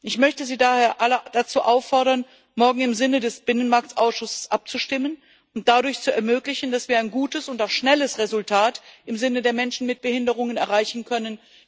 Ich möchte Sie daher alle dazu auffordern, morgen im Sinne des Binnenmarktausschusses abzustimmen und dadurch zu ermöglichen, dass wir ein gutes und auch schnelles Resultat im Sinne der Menschen mit Behinderungen erreichen können.